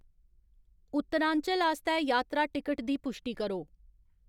उत्तरांचल आस्तै यात्रा टिकट दी पुश्टी करो